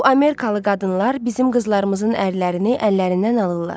Bu Amerikalı qadınlar bizim qızlarımızın ərlərini əllərindən alırlar.